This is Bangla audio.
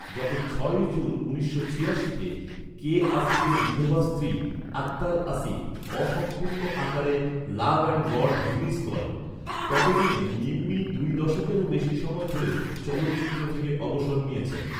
যখন ছয়ই জুন উনিশশো ছিয়াশিতে, কে আসিফের বিধবা স্ত্রী, আখতার আসিফ অসম্পূর্ণ আকারে ‘লাভ অ্যান্ড গড’ রিলিজ করেন। ততদিনে নিম্মি দুই দশকেরও বেশি সময় ধরে চলচ্চিত্র থেকে অবসর নিয়েছেন।